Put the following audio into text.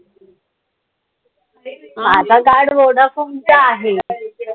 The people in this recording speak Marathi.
माझं card vodafone च आहे.